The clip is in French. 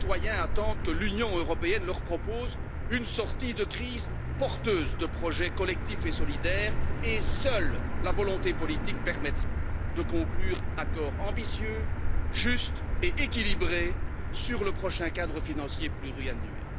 Les citoyens attendent que l'Union européenne leur propose une sortie de crise porteuse de projets collectifs et solidaires et seule la volonté politique permettrait de conclure un accord ambitieux juste et équilibré sur le prochain cadre financier pluriannuel.